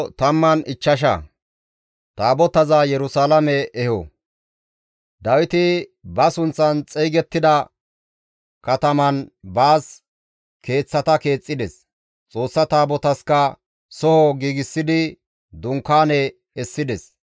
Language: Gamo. Dawiti ba sunththan xeygettida kataman baas keeththata keexxides; Xoossa Taabotasikka soho giigsidi dunkaane essides.